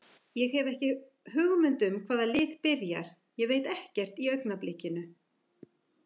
Ég hef ekki hugmynd hvaða lið byrjar, ég veit ekkert í augnablikinu.